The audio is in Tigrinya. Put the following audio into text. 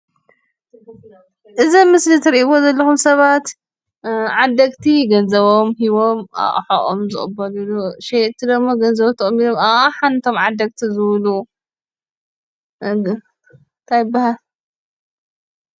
እዚ ኣብ ምስሊ ትሬእዎ ዘለኩም ሰባት ዓደግቲ ገንዘቦም ሂቦም ኣቅሕኦም ዝቅበልሉ ሸየጥቲ ደሞ ገንዘቦም ተቀቢሎም ኣቅሓ ነቶም ዓደግቲ ዝህብሉ እንታይ ይበሃል?